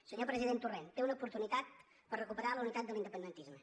senyor president torrent té una oportunitat per recuperar la unitat de l’independentisme